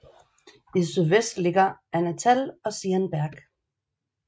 I sydvest ligger Ahnatal og Zierenberg